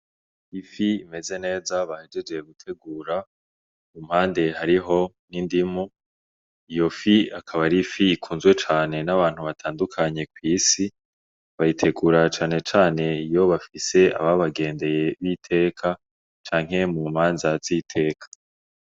Ifi imeze neza bahejeje gutegura kumpande hariho n'indimu iyo fi ikaba ari ifi ikunzwe cane n'abantu batandukanye kwisi bayitegura cane cane iyo bafise ababagendeye b'iteka canke mu manza z iteka